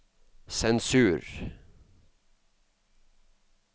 sensur